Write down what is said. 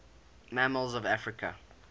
mammals of africa